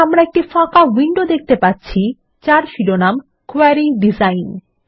এখন আমরা একটি ফাঁকা উইন্ডো দেখতে পাচ্ছি যার শিরোনাম ক্যোয়ারী ডিজাইন